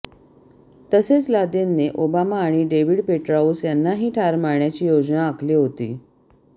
तसेच लादेनने ओबामा आणि डेव्हिड पेट्राऊस यांनाही ठार मारण्याची योजना आखली होती